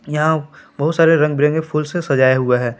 यहां बहुत सारे रंग बिरंगे फूल से सजाया हुआ है।